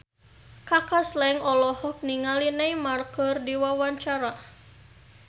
Kaka Slank olohok ningali Neymar keur diwawancara